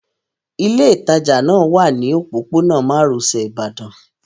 Ilé ìtajà náà wà ní òpópónà márosẹ̀ Ibadan